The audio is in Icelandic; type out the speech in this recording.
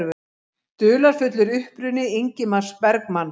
Dularfullur uppruni Ingmars Bergman